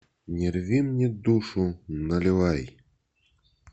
не рви мне душу наливай